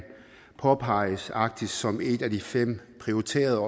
påpeges arktis som et af de fem prioriterede